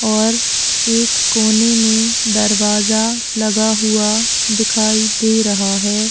और एक कोने में दरवाजा लगा हुआ दिखाई दे रहा है।